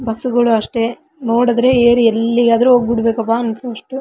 bus ಗಳು ಅಷ್ಟೇ ನೋಡದ್ರೆ ಏರಿ ಎಲ್ಲಿಗಾದ್ರೂ ಹೋಗ್ಬಿಡ್ಬೇಕಪ್ಪ ಅನಿಸುವಷ್ಟು --